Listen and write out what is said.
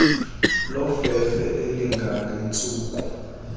lofefe elinga ngentsuku